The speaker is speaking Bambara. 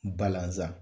Balanzan